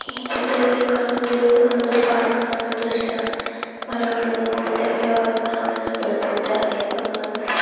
ಈ ಚಿತ್ರದಲ್ಲಿ ಕಾಣುತ್ತಿರುವುದು ಪಾರ್ಕ್ ನ ಒಂದು ದೃಶ್ಯ ಮರಗಳು ವಿಧವಿಧವಾದ ಮರಗಳನ್ನು ಬೆಳೆಸಿದ್ದಾರೆ ಅಹ್ --